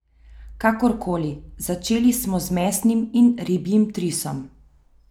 Kakorkoli, začeli smo z mesnim in ribjim trisom.